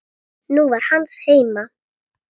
Hún var hans heima.